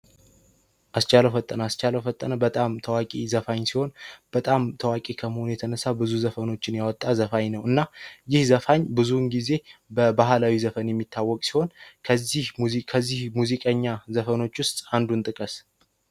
አስቻለው ፈጠና አስቻለው ፈጠነው በጣም ታዋቂ ዘፋኝ ሲሆን በጣም ታዋቂ የተነሳ ብዙ ዘፈኖችን ያወጣ ዘፋኝ ነውና ይዘፋኝ ጊዜ በባህላዊ ዘፈን የሚታወቅ ሲሆን፤ ከዚህ ሙዚቃ ሙዚቀኛ ዘፈኖች ውስጥ አንዱን ጥቀስ?